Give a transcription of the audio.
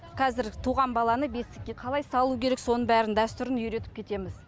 қазір туған баланы бесікке қалай салу керек соны бәрін дәстүрін үйретіп кетеміз